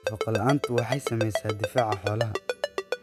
Nafaqo la'aantu waxay saamaysaa difaaca xoolaha.